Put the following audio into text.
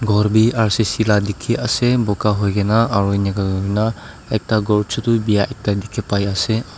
ghor bhi r c c la dikhi ase buga hoi gina aro eneka hoi na ekta ghor chutu bia ekta dikhi pai ase.